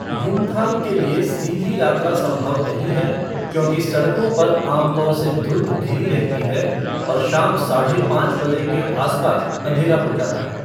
युमथांग के लिए सीधी यात्रा संभव नहीं है क्योंकि सड़कों पर आमतौर से धुंध घिरी रहती है और शाम साढ़े पाँच बजे के आसपास अंधेरा हो जाता है।